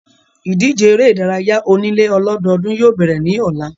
Ìdíje eré ìdárayá onílé ọlọ́dọọ́dún yóò bẹ̀rẹ̀ ní ọ̀la.